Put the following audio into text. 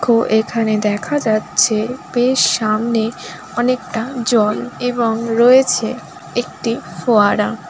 এখানে দেখা যাচ্ছে বেশ সামনে অনেকটা জল এবং রয়েছে একটি ফোয়ারা।